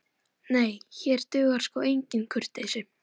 Nei, hér dugar sko engin kurteisi.